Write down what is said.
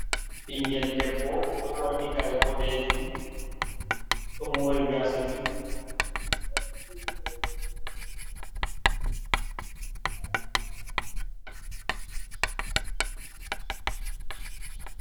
Ɓingel debbo ɗo ɓorni kare boɗejum ɗo mori gaasa juɗɗum.